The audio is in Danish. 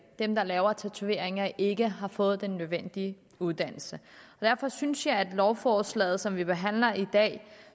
dem der laver tatoveringen ikke har fået den nødvendige uddannelse derfor synes jeg at lovforslaget som vi behandler i dag og